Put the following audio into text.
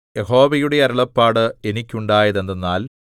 യഹോവയുടെ അരുളപ്പാട് എനിക്കുണ്ടായത് എന്തെന്നാൽ